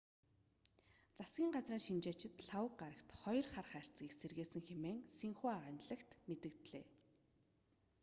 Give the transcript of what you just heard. засгийн газрын шинжээчид лхагва гарагт хоёр хар хайрцагийг сэргээсэн хэмээн синьхуа агентлаг мэдээллээ